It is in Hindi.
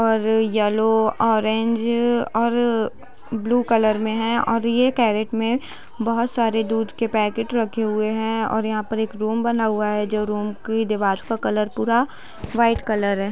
और यलो ओरेंज और ब्लू कलर में है और ये क्रैट में बहुत सारे दूध के पैकेट रखे हुए हैं और यहाँ पर एक रूम बना हुआ है जो रूम की दीवाल का कलर पूरा वाईट कलर है।